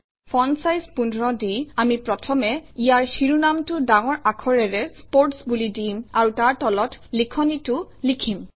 font size ১৫ দি আমি প্ৰথমে ইয়াৰ শিৰোনামটো ডাঙৰ আখাৰেৰে স্পোৰ্টছ বুলি দিম আৰু তাৰ তলত লিখনিটো লিখিম